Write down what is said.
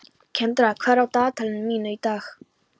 Kendra, hvað er á dagatalinu mínu í dag?